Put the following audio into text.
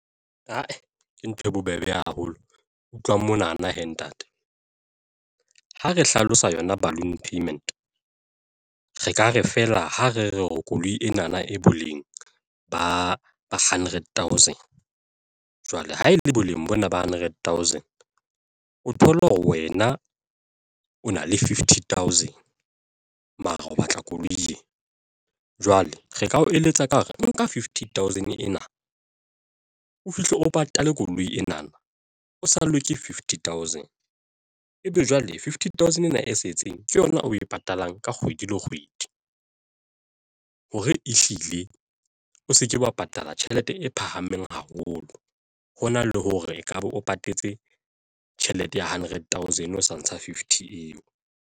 Ke ntho e bobebe haholo utlwa mona na he ntate ha re hlalosa yona balloon payment re ka re fela ha re re o koloi ena na e boleng ba hundred thousand jwale ha e le boleng bo na ba hundred thousand o thole hore wena o na le fifty thousand mare o batla koloi ena, jwale re ka o eletsa ka hore nka fifty thousand ena o fihle o patale koloi ena, o sallwe ke fifty thousand ebe jwale fiffty thousand ena e setseng ke yona o e patalang ka kgwedi le kgwedi hore ehlile o se ke wa patala tjhelete e phahameng haholo hona le hore ekaba o patetse tjhelete ya hundred thousand o sa ntsha fifty eo.